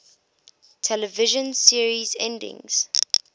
television series endings